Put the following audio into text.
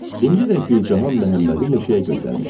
İndi də Gülcahan Məhəmmədi meşəyə göndərmişdi.